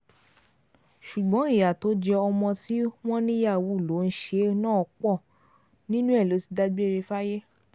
ṣùgbọ́n ìyá tó jẹ́ ọmọ tí wọ́n ní yahoo ló ń ṣe náà pọ̀ nínú ẹ̀ ló ti dágbére fáyé